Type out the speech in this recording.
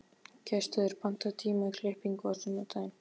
Gestheiður, pantaðu tíma í klippingu á sunnudaginn.